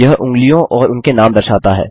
यह उँगलियाँ और उनके नाम दर्शाता है